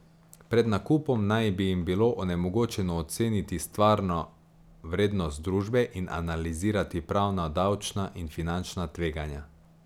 Pred nakupom naj bi jim bilo onemogočeno oceniti stvarno vrednost družbe in analizirati pravna, davčna in finančna tveganja.